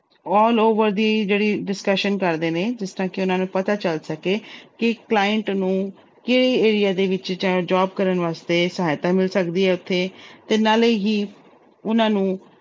All over ਦੀ ਜਿਹੜੀ discussion ਕਰਦੇ ਨੇ ਜਿਸ ਤਰ੍ਹਾਂ ਕਿ ਉਹਨਾਂ ਨੂੰ ਪਤਾ ਚੱਲ ਸਕੇ ਕਿ client ਨੂੰ ਕਿਹੜੇ area ਦੇ ਵਿੱਚ ਚਾਹੇ job ਕਰਨ ਵਾਸਤੇ ਸਹਾਇਤਾ ਮਿਲ ਸਕਦੀ ਹੈ ਉੱਥੇ ਤੇ ਨਾਲੇ ਹੀ ਉਹਨਾਂ ਨੂੰ